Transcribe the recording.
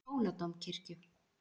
Hóladómkirkju